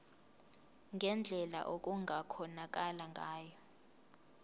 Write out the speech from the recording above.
ngendlela okungakhonakala ngayo